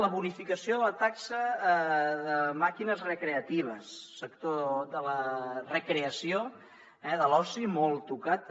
la bonificació de la taxa de màquines recreatives sector de la recreació de l’oci molt tocat també